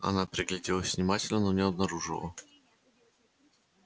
она пригляделась внимательно но не обнаружила